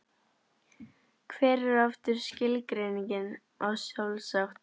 Hver er aftur skilgreiningin á sjálfsagt?